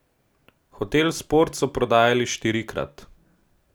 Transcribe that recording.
Hotel Sport so prodajali štirikrat.